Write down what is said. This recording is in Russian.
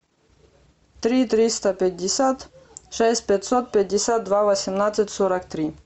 три триста пятьдесят шесть пятьсот пятьдесят два восемнадцать сорок три